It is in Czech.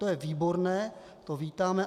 To je výborné, to vítáme.